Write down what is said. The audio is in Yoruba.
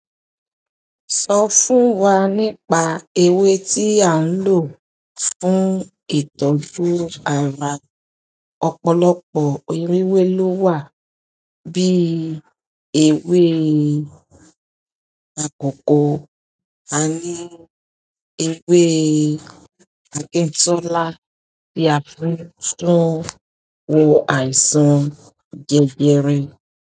Sọ fún wa nípa ewé tí a ń lò fún ìtọ́jú ara. Ọ̀pọ̀lọpọ̀ irú ewé ló wà bí ewé akọko, a ní ewé àkintolá tí a fi ń tún woò àìsàn jẹjẹrẹ.